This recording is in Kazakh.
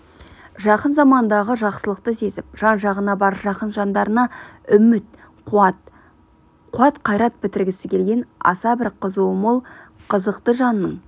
жақын замандағы жақсылықты сезіп жан-жағына бар жақын жандарына үміт-қуат қуат-қайрат бітіргісі келген аса бір қызуы мол қызықты жанның